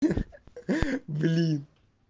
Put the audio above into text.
блин